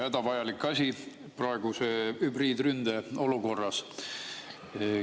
Hädavajalik asi praeguse hübriidründe olukorras.